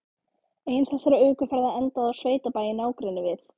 Ein þessara ökuferða endaði á sveitabæ í nágrenni við